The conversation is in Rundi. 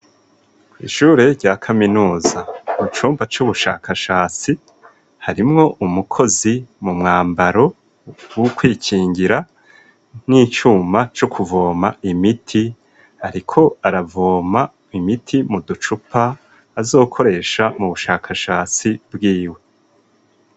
Ishure rya kaminuza ku cumba c'ubushakashasi harimwo umukozi mu mwambaro wo kwikingira nk'icuma co kuvoma imiti, ariko aravoma imiti mu ducupa azokoresha mu bushakashasi bwiwe.